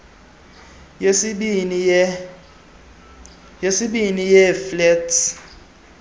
yesibini yee facets